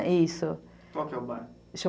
Qual que é o bar?